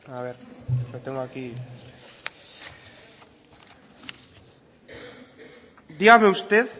dígame usted